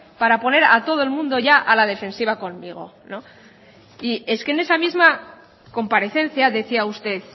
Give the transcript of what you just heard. para poner a todo el mundo ya a la defensiva conmigo es que en esa misma comparecencia decía usted